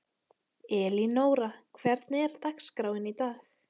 Elínóra, hvernig er dagskráin í dag?